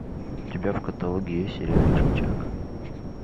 у тебя в каталоге есть сериальчик чак